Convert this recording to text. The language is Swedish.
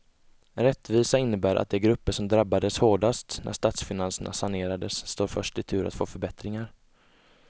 Rättvisa innebär att de grupper som drabbades hårdast när statsfinanserna sanerades står först i tur att få förbättringar.